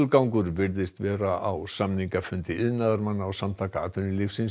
gangur virðist vera á samningafundi iðnaðarmanna og Samtaka atvinnulífsins